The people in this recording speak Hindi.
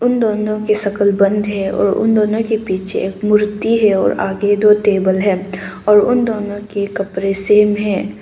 दोनों की शक्ल बंद है और उन दोनों के पीछे एक मूर्ति है और आगे दो टेबल है और उन दोनों के कपड़े सेम है।